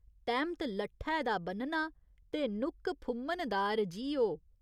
तैह्‌मत लट्ठै दा ब'न्नना ते नुक्क फुम्मनदार जी ओ।